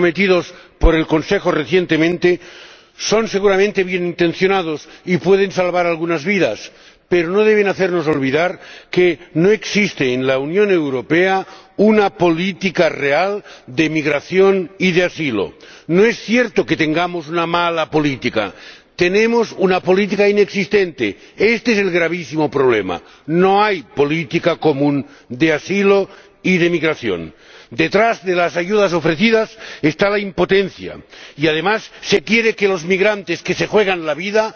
Señor Presidente en este debate solo quiero destacar que los dineros y los recursos comprometidos por el Consejo recientemente son seguramente bienintencionados y pueden salvar algunas vidas, pero no deben hacernos olvidar que no existe en la Unión Europea una política real de inmigración y de asilo. No es cierto que tengamos una mala política, tenemos una política inexistente. Este es el gravísimo problema no hay política común de asilo y de inmigración. Detrás de las ayudas ofrecidas está la impotencia y, además, se quiere que los migrantes, que se juegan la